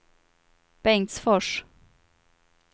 Bengtsfors